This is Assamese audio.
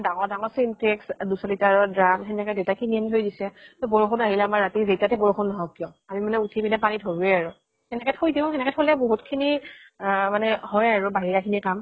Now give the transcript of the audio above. ডাঙৰ ডাঙৰ syntex, দুই শ litre ৰ drum সেনেকে দেইতাই কিনি আনি থৈ দিছে। ত বৰষুন আহিলে আমাৰ ৰাতি যেইটাতে বৰষুন নহওক কিয়, আমি মানে উঠি পিনে পানী ধৰোয়ে আৰু। সেনেকে থৈ দিও, সেনেকে থলে বহুত খিনি আহ মানে হয় আৰু বাহিৰা খিনি কাম